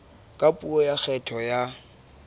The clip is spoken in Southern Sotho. ka puo ya kgetho ya